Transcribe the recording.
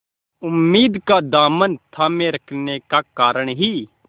उम्मीद का दामन थामे रखने के कारण ही